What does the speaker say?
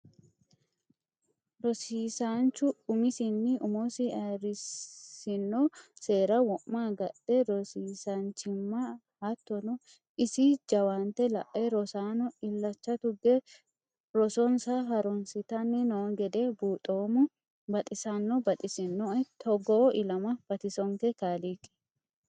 Rosiisanchu umisinni umosi ayirrisiisino seera wo'ma agadhe rosiisachimaha hattono isi jawaante lae rosaano illacha tuge rosossa harunsittanni no gede buuxoommo, baxisano baxisinoe togoo ilama batisonke kaaliiqi.